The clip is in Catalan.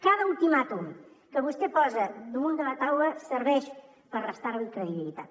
cada ultimàtum que vostè posa damunt de la taula serveix per restar li credibilitat